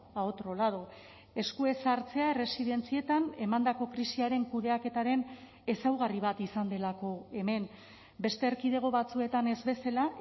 a otro lado esku ez hartzea erresidentzietan emandako krisiaren kudeaketaren ezaugarri bat izan delako hemen beste erkidego batzuetan ez bezala